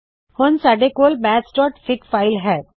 ਹੁਣ ਸਾੱਡੇ ਕੋਲ mathsਫਿਗ ਫ਼ਾਇਲ ਹੈ